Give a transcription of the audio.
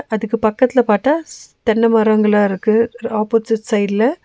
அதுக்கு பக்கத்துல பாத்தா ஸ் தென்ன மரங்களா இருக்கு ஆப்போசிட் சைடுல .